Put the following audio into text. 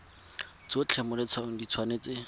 tsotlhe mo letshwaong di tshwanetse